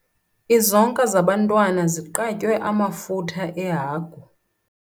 Izonka zabantwana ziqatywe amafutha ehagu.